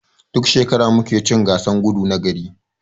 Duk shekara mu muke cin gasan gudu na gari.